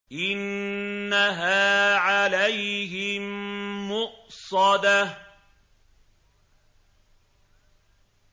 إِنَّهَا عَلَيْهِم مُّؤْصَدَةٌ